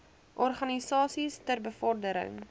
organisasies ter bevordering